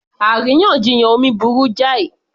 Àríyànjiyàn omi burú jáì